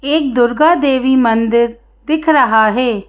एक दुर्गा देवी मंदिर दिख रहा है।